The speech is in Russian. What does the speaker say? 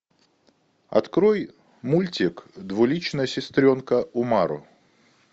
открой мультик двуличная сестренка умару